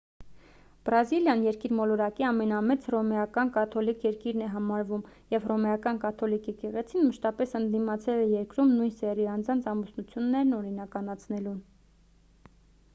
բրազիլիան երկիր մոլորակի ամենամեծ հռոմեական կաթոլիկ երկիրն է համարվում և հռոմեական կաթոլիկ եկեղեցին մշտապես ընդդիմացել է երկրում նույն սեռի անձանց ամուսնություններն օրինականացնելուն